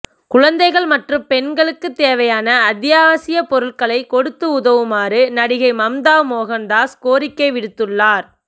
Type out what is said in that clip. குழந்தைகள் மற்றும் பெண்களுக்கு தேவையான அத்தியாவசிய பொருட்களை கொடுத்து உதவுமாறு நடிகை மம்தா மோகன் தாஸ் கோரிக்கை விடுத்துள்ளார்